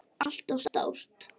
ALLT OF STÓR!